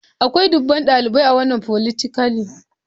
Akwai dubban dalibai a wannan folytechnic.